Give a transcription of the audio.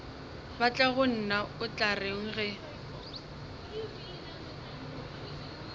batlagonna o tla reng ge